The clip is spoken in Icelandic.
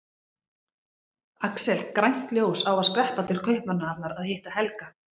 Axel grænt ljós á að skreppa til Kaupmannahafnar að hitta Helga.